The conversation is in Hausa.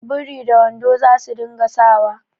Biri da wando za su dinga sa wa